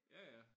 Ja ja